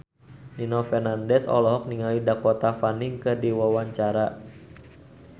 Nino Fernandez olohok ningali Dakota Fanning keur diwawancara